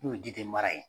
N'o ye ji tɛ mara yen